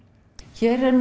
hér er